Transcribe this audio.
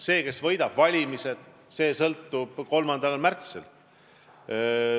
See, kes võidab valimised, selgub 3. märtsil.